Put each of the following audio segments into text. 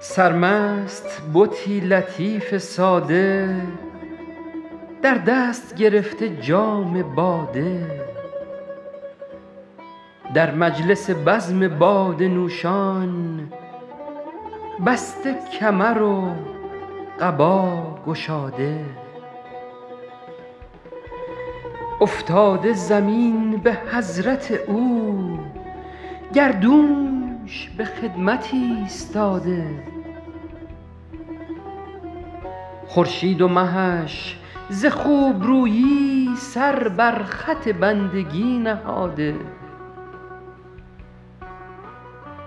سرمست بتی لطیف ساده در دست گرفته جام باده در مجلس بزم باده نوشان بسته کمر و قبا گشاده افتاده زمین به حضرت او گردونش به خدمت ایستاده خورشید و مهش ز خوبرویی سر بر خط بندگی نهاده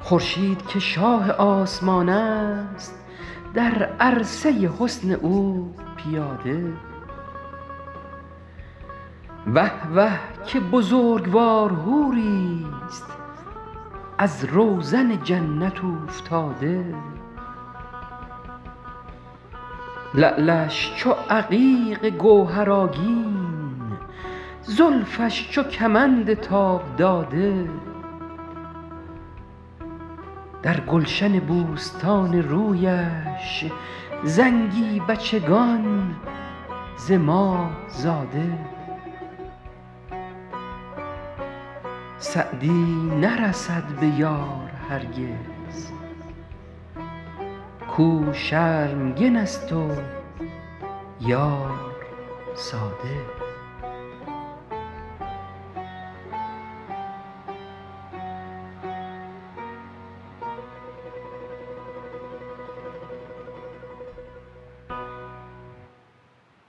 خورشید که شاه آسمان است در عرصه حسن او پیاده وه وه که بزرگوار حوریست از روزن جنت اوفتاده لعلش چو عقیق گوهرآگین زلفش چو کمند تاب داده در گلشن بوستان رویش زنگی بچگان ز ماه زاده سعدی نرسد به یار هرگز کاو شرمگن است و یار ساده